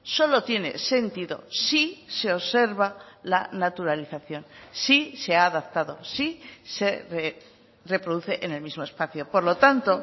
solo tiene sentido si se observa la naturalización si se ha adaptado si se reproduce en el mismo espacio por lo tanto